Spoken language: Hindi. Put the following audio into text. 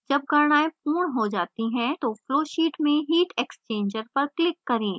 जब गणनाएं पूर्ण हो जाती हैं तो flowsheet में heat exchanger पर click करें